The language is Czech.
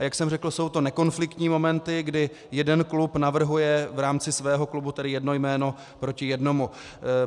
A jak jsem řekl, jsou to nekonfliktní momenty, kdy jeden klub navrhuje v rámci svého klubu jedno jméno proti jednomu.